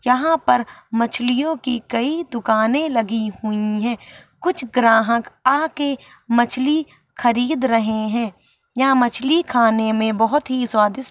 यहाँ पर मछलियों की कई दुकाने लगी हुई है कुछ ग्राहक आ के मछली खरीद रहे है। यह मछली खाने में बहोत ही स्वादिष्ट-----